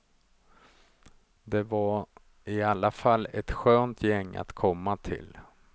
Det var i alla fall ett skönt gäng att komma till.